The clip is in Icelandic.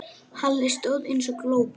Halli stóð eins og glópur.